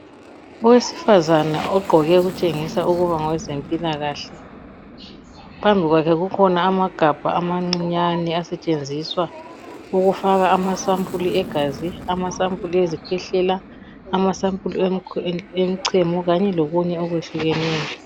Owesifazane ogqoke okutshengisa ukuba ngowezempilakahle . Phambi kwakhe kukhona amagabha amancinyane asetshenziswa ukufaka amasampuli egazi, amasampuli ezikhwehlela, amasampuli emchemo kanye lokunye okwehlukeneyo.